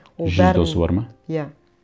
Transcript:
жүз досы бар ма иә